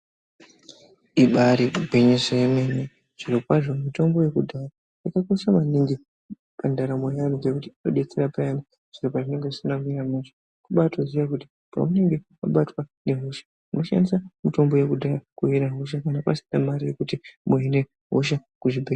Ibaari gwinyiso yemene zvirokwazvo mitombo yekudhaya yakakosha maningi pandaramo yeantu, ngekuti inodetsera maningi payani zviro pazvinonga zvisina kumira zvakanaka. Kubaatoziya kuti paunenge wabatwa ngehosha, unoshandisa mitombo yekudhaya kuhina hosha, kana pasina mare yekuti muhine hosha kuzvibhe....